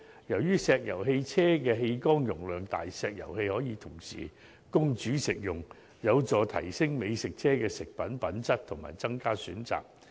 由於石油氣車的氣缸容量大，石油氣可同時供煮食用，有助提升美食車食物品質及增加選擇。